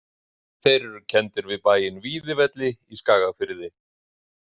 Þeir eru kenndir við bæinn Víðivelli í Skagafirði.